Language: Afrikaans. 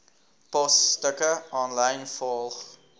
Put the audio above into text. posstukke aanlyn volg